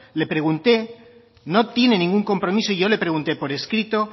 le pregunte no tiene ningún compromiso y yo le pregunte por escrito